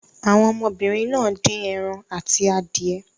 Àwọn ọmọbìnrin náà dín ẹran àti adìẹ.